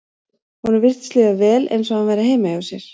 Honum virtist líða vel eins og hann væri heima hjá sér.